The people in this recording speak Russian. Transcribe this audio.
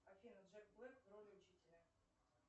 афина джек блэк в роли учителя